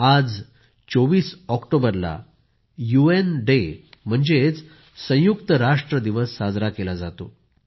आज 24 ऑक्टोबरला UN day म्हणजेच संयुक्त राष्ट्र दिवस साजरा केला जातो